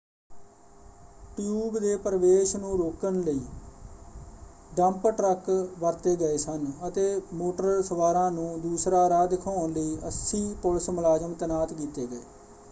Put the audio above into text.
Tube ਦੇ ਪ੍ਰਵੇਸ਼ ਨੂੰ ਰੋਕਣ ਲਈ ਡੰਪ ਟਰੱਕ ਵਰਤੇ ਗਏ ਸਨ ਅਤੇ ਮੋਟਰ ਸਵਾਰਾਂ ਨੂੰ ਦੂਸਰਾ ਰਾਹ ਦਿਖਾਉਣ ਲਈ 80 ਪੁਲਿਸ ਮੁਲਾਜ਼ਮ ਤੈਨਾਤ ਕੀਤੇ ਗਏ।